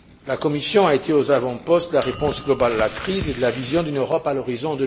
La Commission a été aux avant postes de la réponse globale à la crise et de la vision d'une Europe à l'horizon